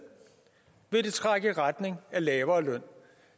vil det trække i retning af lavere løn